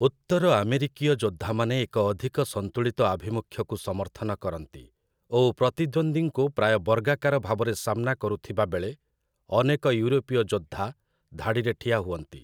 ଉତ୍ତର ଆମେରିକୀୟ ଯୋଦ୍ଧାମାନେ ଏକ ଅଧିକ ସନ୍ତୁଳିତ ଆଭିମୁଖ୍ୟକୁ ସମର୍ଥନ କରନ୍ତି ଓ ପ୍ରତିଦ୍ୱନ୍ଦ୍ୱୀଙ୍କୁ ପ୍ରାୟ ବର୍ଗାକାର ଭାବରେ ସାମ୍ନା କରୁଥିବାବେଳେ ଅନେକ ୟୁରୋପୀୟ ଯୋଦ୍ଧା ଧାଡ଼ିରେ ଠିଆ ହୁଅନ୍ତି ।